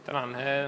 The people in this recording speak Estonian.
Tänan!